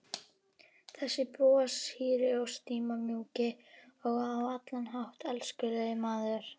Þessi broshýri og stimamjúki og á allan hátt elskulegi maður!